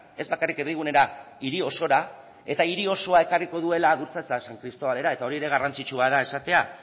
ez bakarrik erdigunera hiri osora eta hiri osoa ekarriko duela adurza eta san cristobalera eta hori ere garrantzitsua da esatea